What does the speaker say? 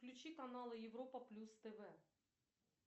включи каналы европа плюс тв